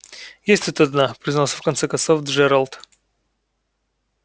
есть тут одна признался в конце концов джералд